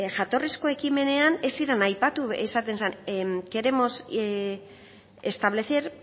jatorrizko ekimenean ez ziren aipatu esaten zen queremos establecer